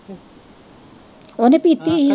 ਓਨੇ ਪੀਤੀ ਹੀ ।